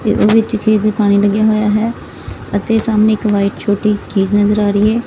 ਇਹਦੇ ਵਿੱਚ ਖੇਤ ਦੇ ਪਾਣੀ ਲੱਗਿਆ ਹੋਯਾ ਹੈ ਅਤੇ ਸਾਹਮਣੇ ਇੱਕ ਵ੍ਹਾਈਟ ਛੋਟੀ ਨਜ਼ਰ ਆ ਰਹੀ ਹੈ।